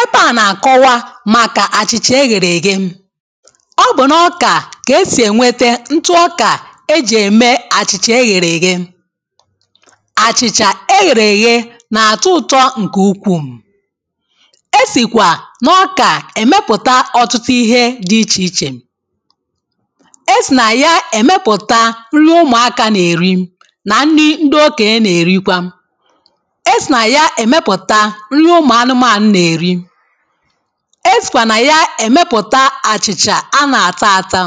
ebe à na-akọwa màkà àchị̀chà eghere ghe ọ bụ̀ n’ọkà kà esì ènwete ntụ ọkà ejì ème àchị̀chà eghere ghe àchị̀chà eghere ghe nà-àtụ ụ̀tọ ǹkè ukwuù e sìkwà nà ọkà èmepụ̀ta ọtụtụ ihe dị ichè ichè e sì nà ya èmepụ̀ta nrụina ụmụ̀aka nà-èri nà ndị ndị okė na-èrikwa nye ụmụ anụmanụ na-eri. esikwa na ya emepụta achịcha a na-ata ata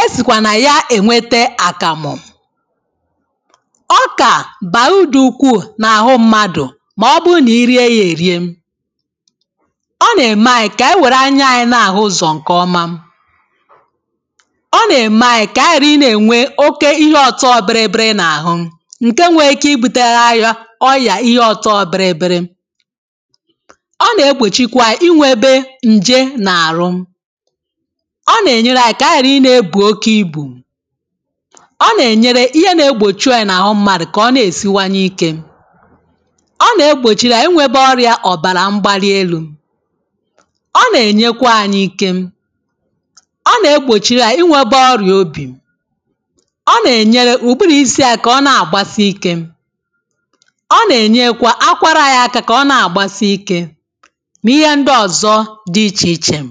esikwa na ya enweta akamụ ọka baa udokwu na ahụ mmadụ ma ọ bụrụ na i rie ya erie ọ na-eme anyị ka anyị nwere anyị na-ahụ ụzọ nke ọma ọ na-eme anyị ka anyị na-enwe oke ihe ọtọ oberebịrị na ahụ nke nwee ka i buteanya ọ nà-egbòchikwa anyị̇ inwėbė ǹje n’àrụ ọ nà-ènyere anyị kà aghàrị̀ ịnėė bù oke ibù ọ nà-ènyere ihe na-egbòchi anyị̇ n’àhụ mmadụ̀ kà ọ na-èsiwanye ike ọ nà-egbòchiri anyị̇ inwėbė ọrịȧ ọ̀bàrà mgbali elu̇ ọ nà-ènyekwa anyị ike ọ nà-egbòchiri anyị̇ inwėbė ọrịà obì ọ nà-ènyere ùgburu̇ isi anyị̇ kà ọ na-àgbasi ike mà ihe ndị ọ̀zọ dị ichè ichè m.